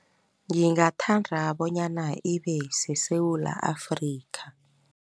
Ngingathandra bonyana ibeseSewula Afrika.